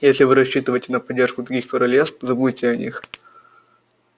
если вы рассчитываете на поддержку других королевств забудьте о них